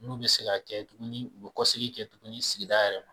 N'u be se ka kɛ sigi kɛ dumuni u bi kɔsegin kɛ dumuni sigida yɛrɛ la.